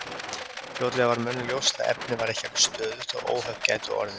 Fljótlega varð mönnum ljóst að efnið var ekki alveg stöðugt og að óhöpp gætu orðið.